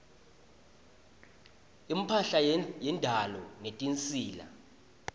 imphahla yendalo netinsita